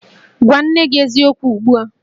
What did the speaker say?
Gwa nne gi eziokwu ugbu a!